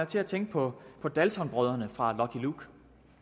til at tænke på på daltonbrødrene fra lucky luke